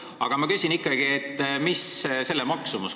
Aga ma küsin ikkagi, mis selle maksumus on.